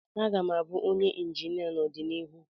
M ga-abụ onye injinia n'ọdịnihu.